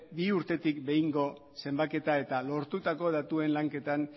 bi urtetik behingo zenbaketa eta lortutako datuen lanketan